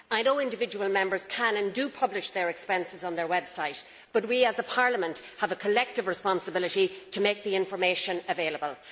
I know individual Members can and do publish their expenses on their websites, but we as a Parliament have a collective responsibility to make the information available.